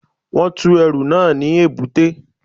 Wọ́n tú ẹrù náà ní èbúté